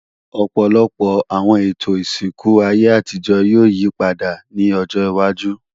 Ọ̀pọ̀lọpọ̀ àwọn ètò ìsìnkú ayé àtijọ́ ni yóò yípadà ní ọjọwájú